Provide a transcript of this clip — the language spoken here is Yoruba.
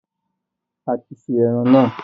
A ti se eran naa